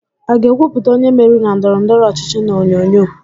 A ga-ekwupụta onye meriri na ndọrọ ndọrọ ọchịchị n'onyonyo?